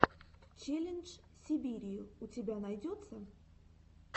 челлендж сибирии у тебя найдется